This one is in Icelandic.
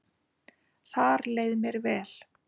Þar leið mér vel